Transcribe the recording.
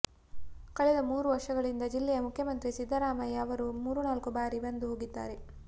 ಕಳೆದ ಮೂರು ವರ್ಷಗಳಿಂದ ಜಿಲ್ಲೆಗೆ ಮುಖ್ಯಮಂತ್ರಿ ಸಿದ್ದರಾಮಯ್ಯ ಅವರು ಮೂರು ನಾಲ್ಕು ಬಾರಿ ಬಂದು ಹೋಗಿದ್ದಾರೆ